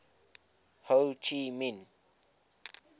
ho chi minh